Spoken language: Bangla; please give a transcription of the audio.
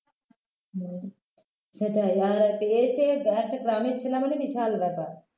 হম সেটাই আর পেয়েছে একটা গ্রামের ছেলে মানে বিশাল ব্যাপার